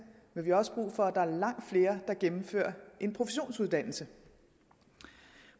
men vi har også brug for at der er langt flere der gennemfører en professionsuddannelse